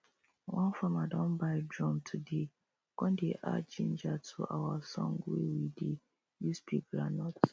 one farmer don buy drum todaye con dey add ginger to our song wey we dey use pick groundnut